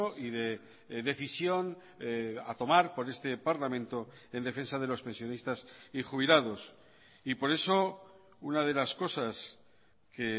y de decisión a tomar por este parlamento en defensa de los pensionistas y jubilados y por eso una de las cosas que